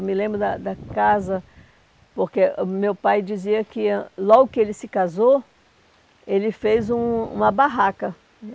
Eu me lembro da da casa... Porque o meu pai dizia que ãh logo que ele se casou, ele fez um uma barraca.